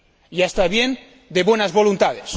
Ya está bien de buenas voluntades.